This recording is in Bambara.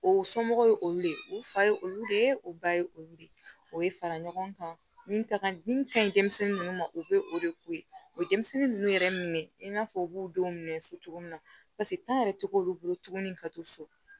O somɔgɔw ye olu de ye u fa ye olu de ye o ba ye olu de o ye fara ɲɔgɔn kan min ka kan min ka ɲi denmisɛnnin ninnu ma u bɛ o de k'o ye o denmisɛnnin ninnu yɛrɛ mina fɔ u b'u denw minɛ so cogo min na paseke yɛrɛ tɛ k'olu bolo tuguni ka to so